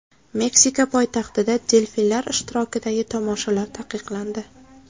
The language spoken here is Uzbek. Meksika poytaxtida delfinlar ishtirokidagi tomoshalar taqiqlandi.